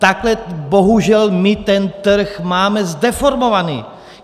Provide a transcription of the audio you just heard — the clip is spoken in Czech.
Takhle bohužel my ten trh máme zdeformovaný.